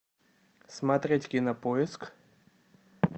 смотреть кинопоиск